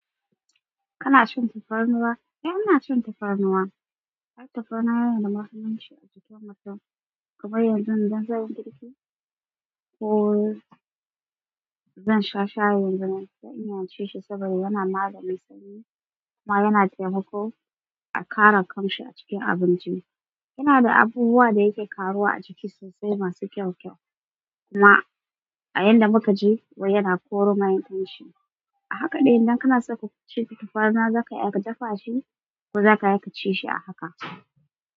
Kana cin tafarnuwa? Eh, ina cin tafarnuwa. Ai tafarnuwa yanada mahimmanci a jikin mutum. Kuma yanzu idan zanyi girki, ko zan sha shayin tafarnuwa ina cishi saboda yana maganin sanyi kuma yana taimako a ƙara ƙamshi a cikin abinci. Yana da abubuwa da yake ƙaruwa a jiki sosai masu kyau kyau. Kuma a yanda muka ji wai yana koro mai kyau shi. A haka dai idan kana so ka ci tafarnuwa za ka iya ka dafa shi ko za ka iya ka ci shi a haka.